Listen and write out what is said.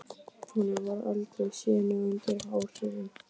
Hún hefur aldrei séð mig undir áhrifum.